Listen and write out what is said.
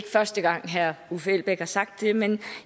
første gang herre uffe elbæk har sagt det men